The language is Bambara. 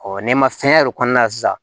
n'i ma fɛn yɛrɛ kɔnɔna sisan